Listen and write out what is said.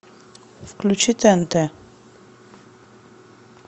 включи тнт